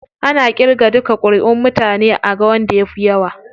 Ana irga duka kuriʼun mutane aga wanda ya fi yawa.